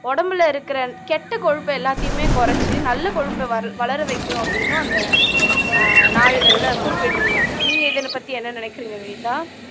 உடம்புல இருக்கிற கெட்ட கொழுப்பை எல்லாத்தையுமே குறைச்சு நல்ல கொழுப்பை வள வளர வைக்கும் அப்படின்னும் அந்த ஆஹ் நாளிதழ்ல குறிப்பிட்டு இருந்தாங்க நீங்க இதைப்பத்தி என்ன நினைக்கிறீங்க வினிதா